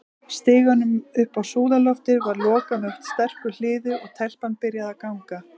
Stiganum upp á súðarloftið var lokað með sterku hliði, og- telpan byrjaði að ganga.